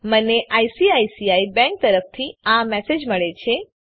મને ICICI bank તરફથી આ મેસેજ મળે છે